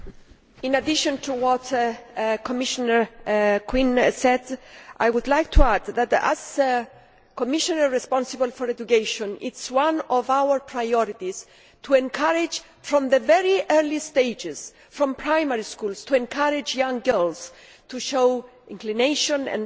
In addition to what Commissioner Geoghegan Quinn said, I would like to add that, as Commissioner responsible for education, it is one of our priorities to encourage from the very early stages in primary schools to encourage young girls to show inclination and